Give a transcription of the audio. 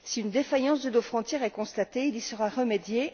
Si une défaillance de nos frontières est constatée, il y sera remédié.